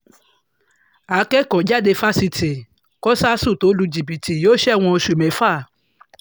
akẹ́kọ̀ọ́-jáde fásitì kọ̀ṣàsù tó lu jìbìtì yóò ṣẹ̀wọ̀n oṣù mẹ́fà